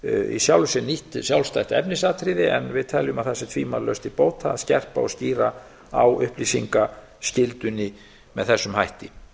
í sjálfu sér nýtt sjálfstætt efnisatriði en við teljum að það sé tvímælalaust til bóta að skerpa og skýra á upplýsingaskyldunni með þessum hætti